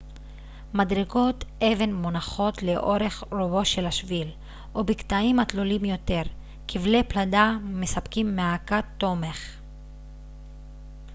מדרגות אבן מונחות לאורך רובו של השביל ובקטעים התלולים יותר כבלי פלדה מספקים מעקה תומך